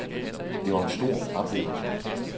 Det var en stor oplevelse.